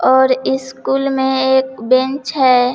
और स्कूल में एक बेंच है।